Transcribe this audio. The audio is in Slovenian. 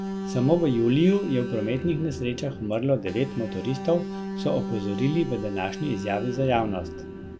Samo v juliju je v prometnih nesrečah umrlo devet motoristov, so opozorili v današnji izjavi za javnost.